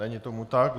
Není tomu tak.